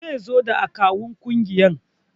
Zaizo da akawun kungiyar